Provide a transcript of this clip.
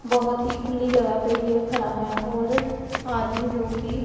बहोत ही खुली जगह पे ये खड़ा है और आदमी जो कि --